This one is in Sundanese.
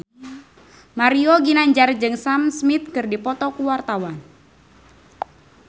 Mario Ginanjar jeung Sam Smith keur dipoto ku wartawan